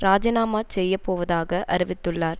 இராஜினாமா செய்ய போவதாக அறிவித்துள்ளார்